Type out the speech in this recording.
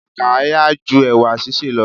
Àkàrà yá ju ẹ̀wà sísè lọ.